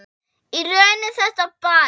Í raun er þetta bæn.